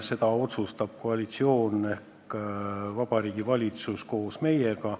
Seda otsustab koalitsioon ehk Vabariigi Valitsus koos meiega.